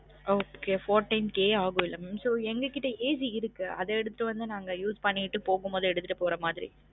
Okay fourteen K ஆகும் இல்ல mam so எங்க கிட்ட AC இருக்கு அதே எடுத்து வந்து நாங்க use பன்கிட்டு போகும்பொது எடுத்திட்டு போகும் போது எடுத்திட்டு போகுற மாதிரி